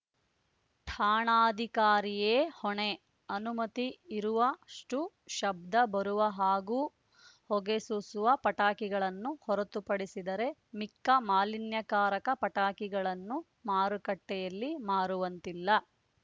ಠಾಣಾಧಿಕಾರಿಯೇ ಹೊಣೆ ಅನುಮತಿ ಇರುವ ಷ್ಟುಶಬ್ದ ಬರುವ ಹಾಗೂ ಹೊಗೆ ಸೂಸುವ ಪಟಾಕಿಗಳನ್ನು ಹೊರತುಪಡಿಸಿದರೆ ಮಿಕ್ಕ ಮಾಲಿನ್ಯಕಾರಕ ಪಟಾಕಿಗಳನ್ನು ಮಾರುಕಟ್ಟೆಯಲ್ಲಿ ಮಾರುವಂತಿಲ್ಲ